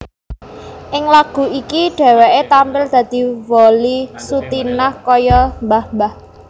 Ing lagu iku dhéwéké tampil dadi Wolly Sutinah kaya mbah mbah